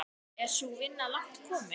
Er sú vinna langt komin.